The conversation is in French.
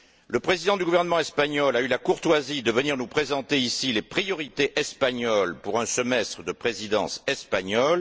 Le président du gouvernement espagnol a eu la courtoisie de venir nous présenter ici les priorités espagnoles pour un semestre de présidence espagnole.